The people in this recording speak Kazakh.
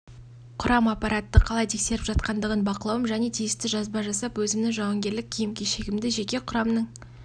құрам аппаратты қалай тексеріп жатқандығын бақылауым және тиісті жазба жасап өзімнің жауынгерлік киім-кешегімді жеке құрамның